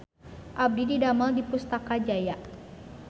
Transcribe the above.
Abdi didamel di Pustaka Jaya